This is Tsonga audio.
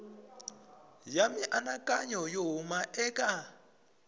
ya mianakanyo yo huma eka